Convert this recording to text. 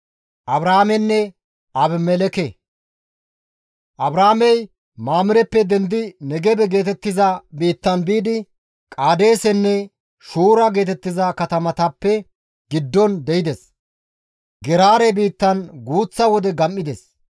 Abrahaamey Mamireppe dendidi Negebe geetettiza biitta biidi Qaadeesenne Shuura geetettiza katamatappe giddon de7ides; Geraare biittan guuththa wode gam7ides.